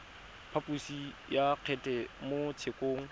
phaposo ya kgetse mo tshekong